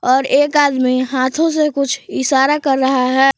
और एक आदमी हाथों से कुछ इशारा कर रहा है।